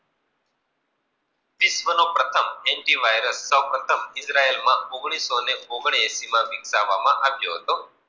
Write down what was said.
વિશ્વ નો પ્રથમ એન્ટીક વાયરલ સો પ્રથમ ઓગળીસો ને ઓગનાએસી માં વિર્સવામાં આવ્યો હતો.